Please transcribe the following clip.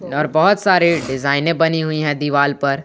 इधर बहोत सारे डिजाइने बनी हुई है दीवाल पर।